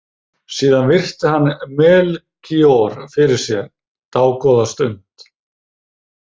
Síðan virti hann Melkíor fyrir sér dágóða stund.